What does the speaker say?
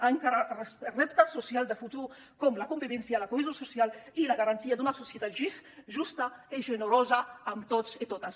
a encarar els reptes socials de futur com la convivència la cohesió social i la garantia d’una societat justa i generosa amb tots i totes